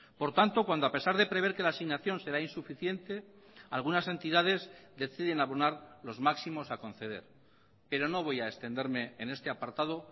por tanto cuando a pesar de prever que la asignación será insuficiente algunas entidades deciden abonar los máximos a conceder pero no voy a extenderme en este apartado